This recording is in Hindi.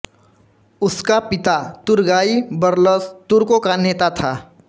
उसका पिता तुरगाई बरलस तुर्कों का नेता था